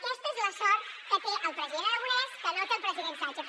aquesta és la sort que té el president aragonès que no té el president sánchez